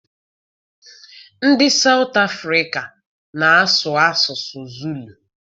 Ndị South Africa na-asụ asụsụ Zulu.